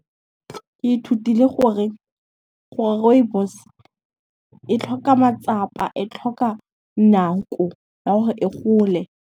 Ke ithutile gore rooibos e tlhoka matsapa, e tlhoka nako ya 'ore e gole.